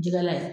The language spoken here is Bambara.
Jɛgɛla ye